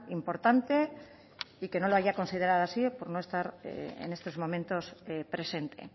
importante y que no lo haya considerado así por no estar en estos momentos presente